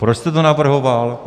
Proč jste to navrhoval?